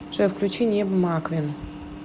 джой включи небо маквин